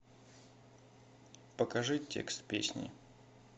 покажи текст песни